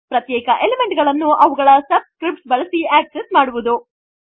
ಪ್ರತ್ಯೇಕ ಎಲಿಮೆಂಟ್ ಗಳನ್ನು ಅವುಗಳ ಸಬ್ಸ್ಕ್ರಿಪ್ಟ್ಸ್ ಬಳಸಿ ಅಕ್ಸೆಸ್ಸ್ ಮಾಡುವುದು